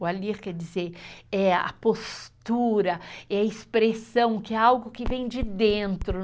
O allure quer dizer a postura, a expressão, que é algo que vem de dentro.